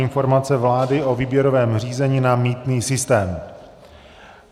Informace vlády o výběrovém řízení na mýtný systém